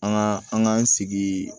An ka an k'an sigi